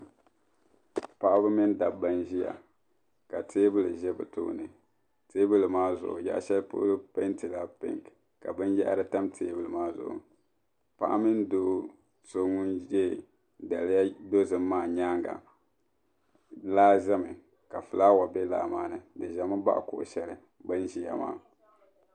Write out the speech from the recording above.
Paɣaba mini dabba n ʒiya ka teebuli za bɛ sunsuuni teebuli maa zuɣu yaɣashɛli polo peentila pink ka binyaɣiri tam teebuli maa zuɣu paɣa mini do so ŋun ye daliya dozim maa nyaaŋa laa zami ka fulaawa be laa maa ni di ʒemi baɣi kuɣu shɛli bin ʒiya maa.